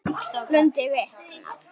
Lund viknar.